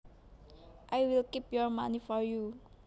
I will keep your money for you